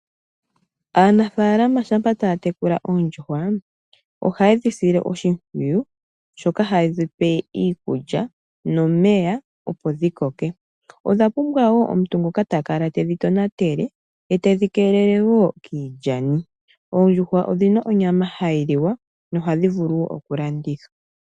Aanafalama shampa taa tekula oondjuhwa ohaye dhi sile oshimpwiyu shoka haye dhipe iikulya nomeya opo dhi koke. Odha pumbwa woo omuntu ngoka takala tedhi tonatele, etedhi keelele woo kiilyani. Oondjuhwa odhina onyama hayi liwa noha dhivulu woo okulandithwa.